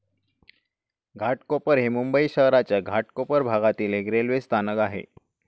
घाटकोपर हे मुंबई शहराच्या घाटकोपर भागामधील एक रेल्वे स्थानक आहे